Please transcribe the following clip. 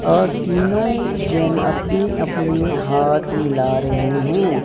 और तीनों जन अपने अपने हाथ मिला रहे हैं।